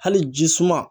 Hali jisuma